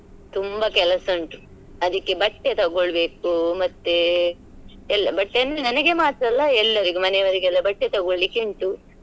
ತುಂಬಾ ಕೆಲಸ ಉಂಟು ಅದಿಕ್ಕೆ ಬಟ್ಟೆ ತಗೋಳ್ಬೇಕು ಮತ್ತೆ ಬಟ್ಟೆ ಅಂದ್ರೆ ನನಗೆ ಮಾತ್ರ ಅಲ್ಲ ಎಲ್ಲರಿಗೂ ಮನೆಯವ್ರ್ಗೆಲ್ಲ ಬಟ್ಟೆ ತಗೊಳ್ಳಿಕೆ ಉಂಟು.